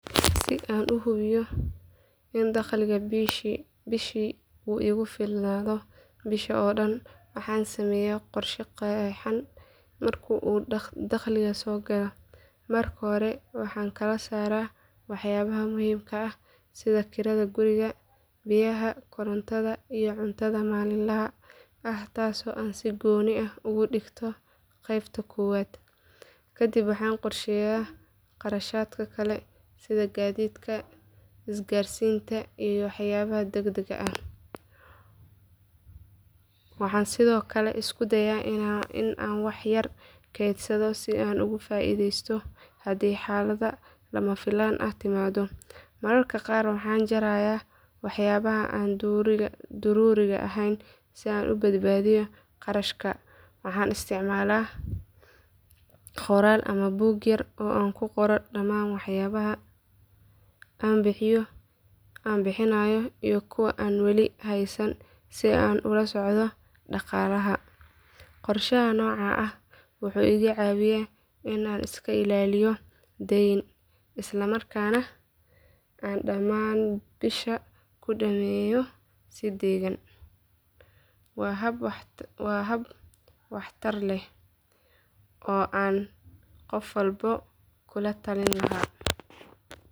Si aan u hubiyo in dakhliga bishii uu igu filnaado bisha oo dhan waxaan sameeyaa qorshe qeexan marka uu dakhligu soo galo. Marka hore waxaan kala saaraa waxyaabaha muhiimka ah sida kirada guriga, biyaha, korontada, iyo cuntada maalinlaha ah taasoo aan si gooni ah uga dhigto qaybta koowaad. Kadib waxaan qorsheeyaa kharashaadka kale sida gaadiidka, isgaarsiinta iyo waxyaabaha degdegga ah. Waxaan sidoo kale isku dayaa in aan wax yar keydsado si aan uga faa’iideysto haddii xaalad lama filaan ah timaado. Mararka qaar waxaan jarayaa waxyaabaha aan daruuriga ahayn si aan u badbaadiyo kharashka. Waxaan isticmaalaa qoraal ama buug yar oo aan ku qoro dhammaan waxyaabaha aan bixinayo iyo kuwa aan weli haysan si aan u la socdo dhaqaalaha. Qorshaha noocan ah wuxuu iga caawiyaa in aan iska ilaaliyo dayn, isla markaana aan dhammaan bisha ku dhameeyo si deggan. Waana hab waxtar leh oo aan qof walba kula talin lahaa.